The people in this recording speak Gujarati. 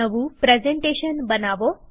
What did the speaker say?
નવું પ્રેઝન્ટેશન બનાવો